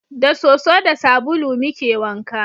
Da soso da sabulu muke wanka